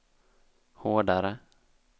hårdare